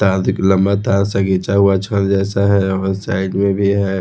तार दिख लंबा तार से खींचा हुआ छड़ जैसा है और साइड में भी है।